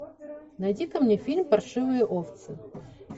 найди ка мне фильм паршивые овцы